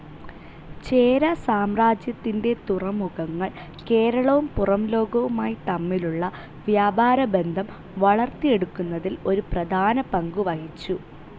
ചേര സാമ്രാജ്യത്തിൻ്റെ തുറമുഖങ്ങൾ കേരളവും പുറംലോകവുമായി തമ്മിലുള്ള വ്യാപാര ബന്ധം വളർത്തിയെടുക്കുന്നതിൽ ഒരു പ്രധാന പങ്കുവഹിച്ചു.